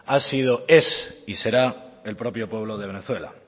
ha sido es y será el propio pueblo de venezuela